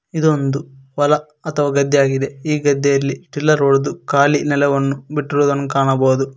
ಇದೊಂದು ಹೊಲ ಅಥವಾ ಗದ್ದೆಯಾಗಿದೆ ಈ ಗದ್ದೆಯಲ್ಲಿ ಟಿಲ್ಲರ್ ಹೊಡೆದು ಖಾಲಿ ನೆಲವನ್ನು ಬಿಟ್ಟಿರುವುದನ್ನು ಕಾಣಬಹುದು.